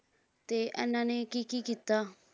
ਤੇ ਐਨਾਂ ਨੇ ਕੀ ਕੀ ਕੀਤਾ